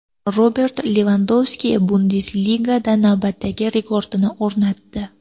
Robert Levandovski Bundesligada navbatdagi rekordini o‘rnatdi.